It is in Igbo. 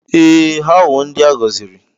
Ee, ha wụ ndị a gọziri.